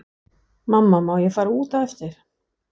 Mamma má ég fara út á eftir?